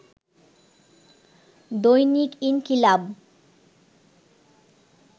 দৈনিক ইনকিলাব